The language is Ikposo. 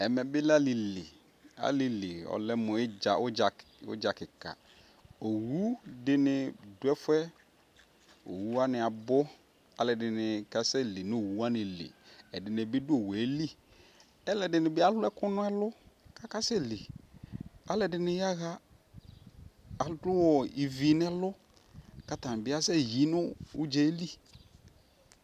ɛmɛ bi lɛ ali li ali li ɔlɛ mo udza ke ka owu dini do ɛfuɛ owu wani abo ko alo ɛdini ka sɛ li no owu wani li ɛdini bi do owue li alo ɛdini bi alou ɛkou no ɛlou ko ase li alo ɛdini ya ɣa alou ivi no ɛlou ko atani bi asɛ yi no udzae li